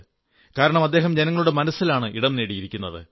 കാരണം അദ്ദേഹം ജനങ്ങളുടെ മനസ്സിലാണ് ഇടം നേടിയിരുന്നത്